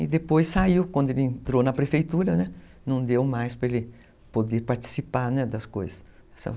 E depois saiu, quando ele entrou na prefeitura, não deu mais para ele poder participar das coisas.